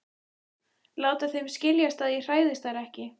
Láta þeim skiljast að ég hræðist þær ekki.